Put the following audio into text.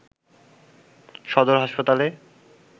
সদর হাসপাতালে